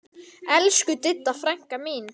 Elsku Didda frænka mín.